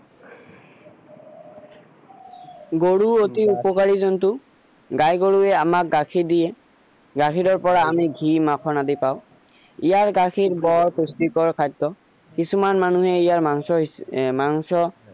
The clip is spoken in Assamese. গৰুৰ এটি উপকাৰি জন্তু গাই গৰুৱে আমাক গাখীৰ দিয়ে গাখীৰৰ পৰা আমি ঘি মাখন আদি পাও ইয়াৰ গাখীৰ বৰ পুষ্টিকৰ খাদ্য কিছুমান মানুহে ইয়াৰ মাংস এৰ মাংস